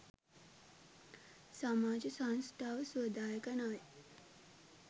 සමාජ සංස්ථාව සුවදායක නොවේ.